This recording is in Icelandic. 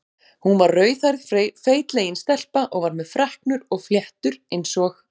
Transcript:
Hún var rauðhærð feitlagin stelpa og var með freknur og fléttur eins og